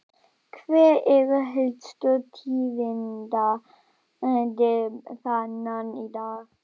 Hver eru helstu tíðindi þaðan í dag?